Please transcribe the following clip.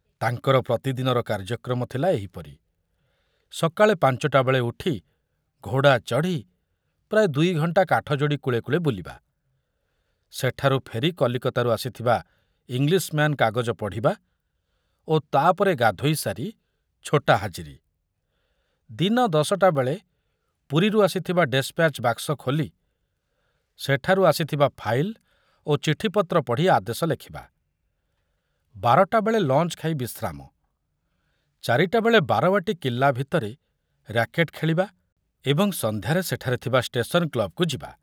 ତାଙ୍କର ପ୍ରତିଦିନର କାର୍ଯ୍ୟକ୍ରମ ଥିଲା ଏହିପରି ସକାଳେ ପାଞ୍ଚଟା ବେଳେ ଉଠି ଘୋଡ଼ା ଚଢ଼ି ପ୍ରାୟ ଦୁଇଘଣ୍ଟା କାଠଯୋଡ଼ି କୂଳେ କୂଳେ ବୁଲିବା, ସେଠାରୁ ଫେରି କଲିକତାରୁ ଆସିଥିବା ଇଂଲିଶମ୍ୟାନ୍ କାଗଜ ପଢ଼ିବା ଓ ତା ପରେ ଗାଧୋଇ ସାରି ଛୋଟା ହାଜିରି, ଦିନ ଦଶଟାବେଳେ ପୁରୀରୁ ଆସିଥିବା ଡେସ୍‌ପ୍ୟାଚ୍ ବାକ୍ସ ଖୋଲି ସେଠାରୁ ଆସିଥିବା ଫାଇଲ ଓ ଚିଠିପତ୍ର ପଢ଼ି ଆଦେଶ ଲେଖିବା, ବାରଟାବେଳେ ଲଞ୍ଚ ଖାଇ ବିଶ୍ରାମ, ଚାରିଟାବେଳେ ବାରବାଟୀ କିଲ୍ଲା ଭିତରେ ର‍୍ୟାକେଟ୍ ଖେଳିବା ଏବଂ ସନ୍ଧ୍ୟାରେ ସେଠାରେ ଥିବା ଷ୍ଟେସନ୍ କ୍ଲବ୍‌କୁ ଯିବା।